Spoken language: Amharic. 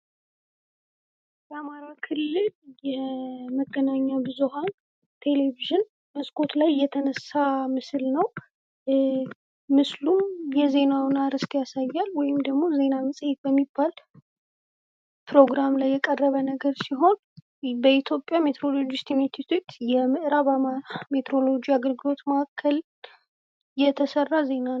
የአማራ ክልል የመገናኛ ብዙሃን ቴሌቪዥን መስኮት ላይ የተነሳ ምስል ነው፡፡ ምስሉም የዜናውን አርእስት ያሳያል ወይም ደግሞ ዜና መጽሄት በሚባል ፕሮግራም ላይ የቀረበ ነገር ሲሆን በኢትዮጵያ ሜትሮሎጂስት ኢንስቲትዩት የምእራብ ሜትሮሎጂ አገልግሎት ማእከል የተሰራ ዜና ነው፡፡